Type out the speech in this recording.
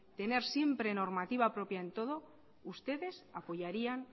tener siempre normativa propia en todo ustedes apoyarían